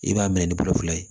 I b'a minɛ ni kulo fila ye